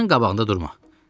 işığın qabağında durma.